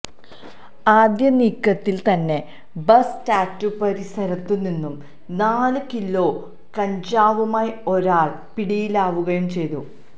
ആദ്യനീക്കത്തില് തന്നെ ബസ് സ്റ്റാറ്റുപരിസരത്തു നിന്നും നാല് കിലോ കഞ്ചാവുമായി ഒരാള് പിടിയിലാവുകയും ചെയ്തു